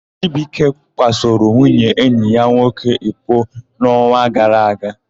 Chibuike kwasoro nwunye enyi ya nwoke iko n'ọnwa gara aga.